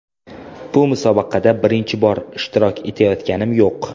Bu musobaqada birinchi bor ishtirok etayotganim yo‘q.